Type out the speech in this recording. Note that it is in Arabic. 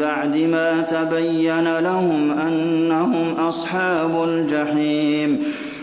بَعْدِ مَا تَبَيَّنَ لَهُمْ أَنَّهُمْ أَصْحَابُ الْجَحِيمِ